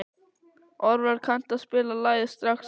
Orvar, kanntu að spila lagið „Strax í dag“?